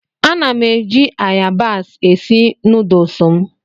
Ana m eji ayabas esi nuduls m.